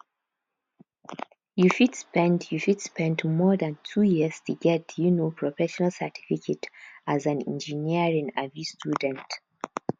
you fit spend you fit spend more than two years to get um professional certificate as an engineering um student